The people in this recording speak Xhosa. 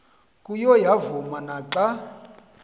kuyo yavuma naxa